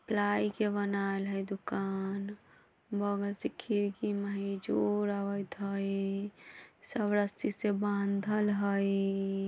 प्लाई के बनाएल है दुकान बगल से खिड़की में इजोर आवेएत हई सब रस्सी से बांधल हई।